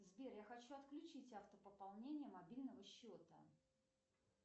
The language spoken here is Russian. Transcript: сбер я хочу отключить автопополнение мобильного счета